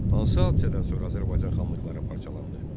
Hansı hadisədən sonra Azərbaycan xanlıqları parçalandı?